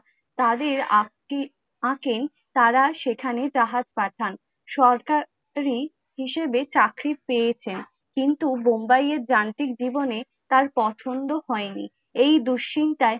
তাদের তারা সেখানে জাহাজ পাঠান, সরকারী হিসাবে চাকরি পেয়েছেন কিন্তু, bombay য়ে যান্ত্রিক জীবনে তার পছন্দ হয়নি । এই দুশ্চিন্তায়